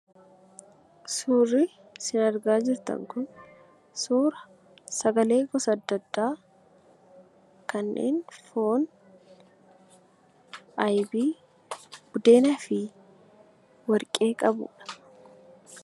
Suurri isin argaa jirtan kun sagalee gosa adda addaa kanneen foon, ittoo , warqee buddeenaa fi buddeena qabudha.